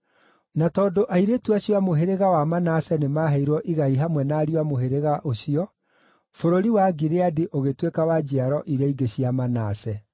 Na tondũ airĩtu acio a mũhĩrĩga wa Manase nĩmaheirwo igai hamwe na ariũ a mũhĩrĩga ũcio, bũrũri wa Gileadi ũgĩtuĩka wa njiaro iria ingĩ cia Manase.